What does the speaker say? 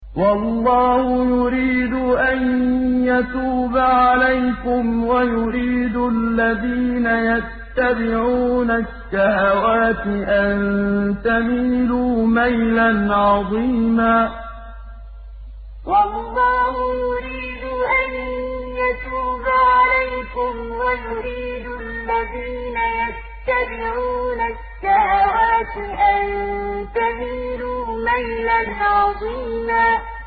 وَاللَّهُ يُرِيدُ أَن يَتُوبَ عَلَيْكُمْ وَيُرِيدُ الَّذِينَ يَتَّبِعُونَ الشَّهَوَاتِ أَن تَمِيلُوا مَيْلًا عَظِيمًا وَاللَّهُ يُرِيدُ أَن يَتُوبَ عَلَيْكُمْ وَيُرِيدُ الَّذِينَ يَتَّبِعُونَ الشَّهَوَاتِ أَن تَمِيلُوا مَيْلًا عَظِيمًا